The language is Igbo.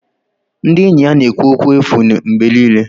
Ndị enyi na-ekwu okwu efu mgbe niile.